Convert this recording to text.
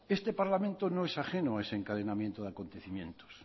este parlamento no es ajeno a ese encadenamiento de acontecimientos